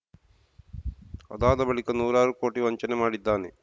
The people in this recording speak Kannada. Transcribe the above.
ಆದಾದ ಬಳಿಕ ನೂರಾರು ಕೋಟಿ ವಂಚನೆ ಮಾಡಿದ್ದಾನೆ